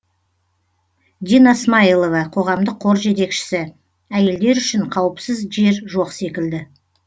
дина смайылова қоғамдық қор жетекшісі әйелдер үшін қауіпсіз жер жоқ секілді